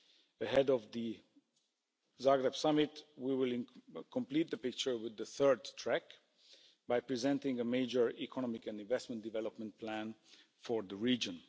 Ahead of the Zagreb Summit, we will complete the picture with the third track by presenting a major economic and investment development plan for the region.